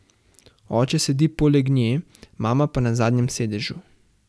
Oče sedi poleg nje, mama pa na zadnjem sedežu.